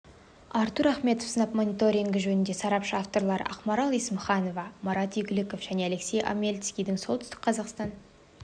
артур ахметов сынап мониторингі жөніндегі сарапшы авторлары ақмарал есімханова марат игіліков және алексей омельницкий оңтүстік қазақстан